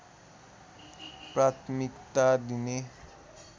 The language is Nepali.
प्राथमिकता दिने